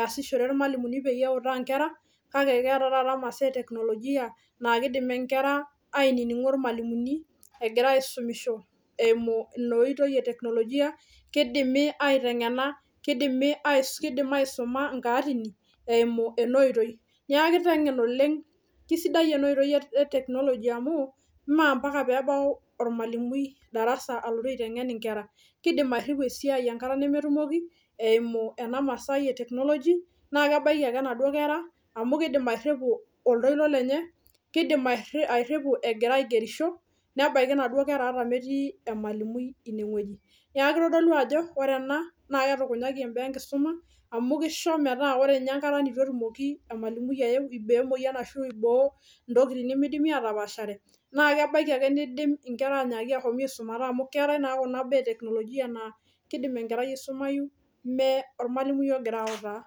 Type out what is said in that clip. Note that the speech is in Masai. easishore irmalimuni peutaa inkera kake keeta taata imasaa e teknolojia naa kidim enkera ainining'o irmalimuni egira aisumisho eimu ina oitoi e teknolojia kidimi aiteng'ena kidimi ais kidim aisuma inkaatini eimu ena oitoi niaku kiteng'en oleng kisidai ena oitoi e technology amu mee ampaka peebau ormalimui darasa alotu aiteng'en inkera kidim airriu esiai enkata nemetumoki eimu ena masai e technology naa kebaiki ake inaduo kera amu kidim airriu airripu oltoilo lenye kidim airriu egira aigerisho nebaiki inaduo kera ata metii emalimui ineng'ueji niaku kitodolu ajo ore ena naa ketukunyaki embaa enkisuma amu kisho metaa ore inye enkata nitu etumoki emalimui ayeu iboo emoyian ashu iboo ntokitin nemidimi atapashare naa kebaiki ake nidim inkera anyaaki ahomi aisumata amu keetae kuna baa e teknolojia naa kidim enkerai aisumayu me ormalimui ogira autaa.